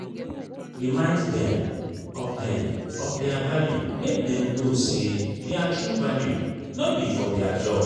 remind dem of dem of their value make dem know say their true value no be for their job